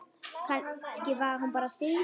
Kannski var hún bara syfjuð.